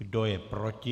Kdo je proti?